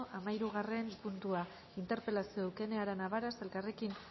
hamahirugarren puntua interpelazioa eukene arana varas elkarrekin